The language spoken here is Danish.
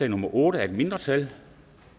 nummer otte af et mindretal